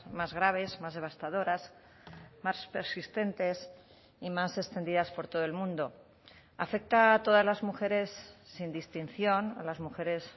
más graves más devastadoras más persistentes y más extendidas por todo el mundo afecta a todas las mujeres sin distinción a las mujeres